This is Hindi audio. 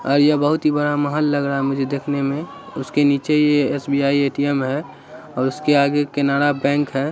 और ये बहोत ही बड़ा महल लग रहा है मुझे देखने में उसके नीचे ये एस.बी.आई ए.टी.एम है और उसके आगे केनारा बैंक है।